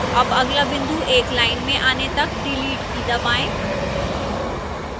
अब अगला बिंदु एक line में आने तक delete की दबाएं